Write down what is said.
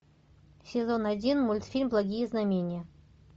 сезон один мультфильм благие знамения